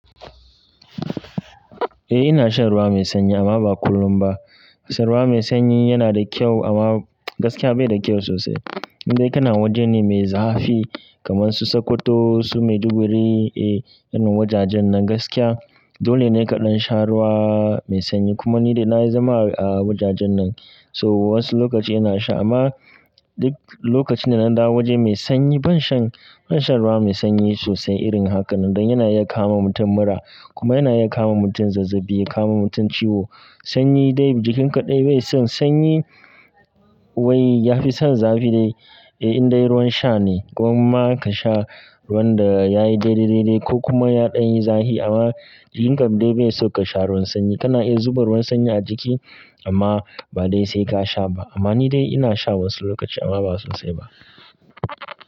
Eh ina shan ruwa mai sanyi amma ba kullum ba. Ruwa mai sanyi yana da kyau amma gaskiya bai da kyau sosai. In kana waje ne mai zafi kaman su Sokoto, su Maiduguri, eh, irin wajajen nan gaskiya dole ne kaɗan sha ruwa mai sanyi. Kuma ni dai na yi zama a wajajen nan, so wasu lokaci ina sha amma duk lokaci na nan da waje mai sanyi ban shan, ban shan ruwa mai sanyi sosai irin haka. Nan da yana iya kama mutum mura kuma yana iya kama mutum zazzabi, ya kama mutum ciwo. Sanyi dai jikinka dai bai son sanyi. Wai ya fi son zafi dai. Eh, in dai ruwan sha ne ko kuma ka sha ruwan da yayi daidai, daidai ko kuma ya ɗan yi zafi amma jikinka dai bai sauka sha ruwan sanyi. Dan yana iya kama mutum mura kuma yana iya kama mutum zazzabi, ya kawo mutum ciwo. Amma ni dai ina sha wasu lokaci amma ba sosai ba.